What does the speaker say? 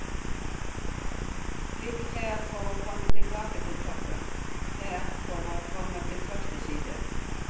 Klikk her for å komme tilbake til toppen, her for å komme til første side.